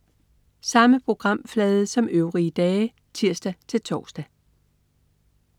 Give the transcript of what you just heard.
Samme programflade som øvrige dage (tirs-tors)